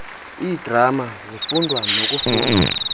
iidrama zifundwa nokufundwa